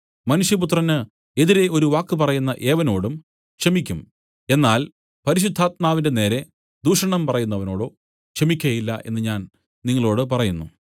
മനുഷ്യപുത്രന് എതിരെ ഒരു വാക്ക് പറയുന്ന ഏവനോടും ക്ഷമിയ്ക്കും എന്നാൽ പരിശുദ്ധാത്മാവിന്റെ നേരെ ദൈവദൂഷണം പറയുന്നവനോടോ ക്ഷമിക്കയില്ല എന്നു ഞാൻ നിങ്ങളോടു പറയുന്നു